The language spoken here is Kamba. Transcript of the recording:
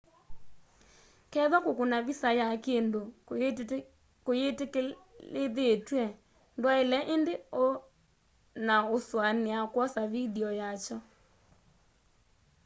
kethwa kukuna visa ya kindu kuyitikilithitw'e ndwaile indi o na usuania kwosa vindio ya kyo